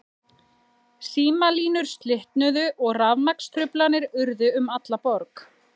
Símalínur slitnuðu og rafmagnstruflanir urðu um alla borg.